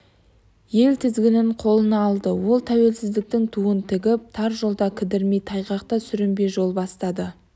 ел тізгінін қолына алды ол тәуелсіздіктің туын тігіп тар жолда кідірмей тайғақта сүрінбей жол бастады